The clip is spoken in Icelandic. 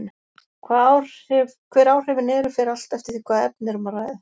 Hver áhrifin eru fer allt eftir því hvaða efni er um að ræða.